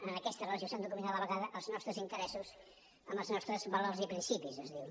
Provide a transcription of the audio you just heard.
en aquesta relació s’han de combinar a la vegada els nostres interessos amb els nostres valors i principis es diu